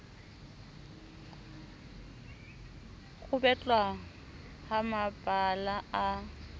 ho betlwa ha mabala a